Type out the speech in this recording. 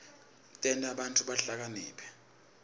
tenta bantfu bahlakaniphe